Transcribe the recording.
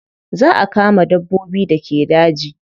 Za a kama dabbobin da ke daji.